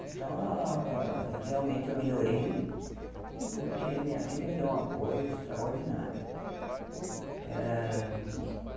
Então ah, realmente, eu melhorei porque minha filha me deu um apoio extraordinário eh.